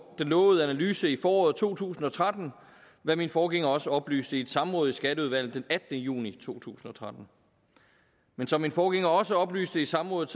den lovede analyse i foråret to tusind og tretten hvad min forgænger også oplyste i et samråd i skatteudvalget den attende juni to tusind og tretten men som min forgænger også oplyste i samrådet